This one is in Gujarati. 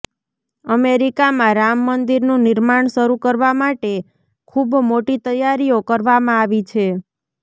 અમેરિકામાં રામ મંદિરનું નિર્માણ શરૂ કરવા માટે ખૂબ મોટી તૈયારીઓ કરવામાં આવી છે